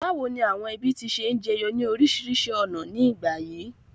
Bàwoni àwon ẹbí ti se n jeyo ni orísìrísi ọ̀nà ni ìgbà yìí?